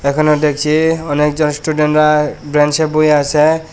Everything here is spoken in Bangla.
এখানে দেখছি অনেকজন স্টুডেন্ট -রা বেঞ্চ এ বইয়া আছে।